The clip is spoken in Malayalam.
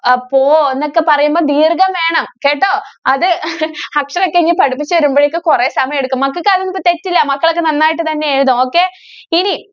പോ എന്നൊക്കെ പറയുമ്പം ദീര്‍ഘം വേണം കേട്ടോ. അത് അക്ഷരൊക്കെ ഇനി പഠിപ്പിച്ചു വരുമ്പോഴേക്കും കൊറേ സമയം എടുക്കും. മക്കക്ക്‌ അതൊന്നും തെറ്റില്ല. മക്കളൊക്കെ നന്നായിട്ട് തന്നെ എഴുതും okay. ഇനി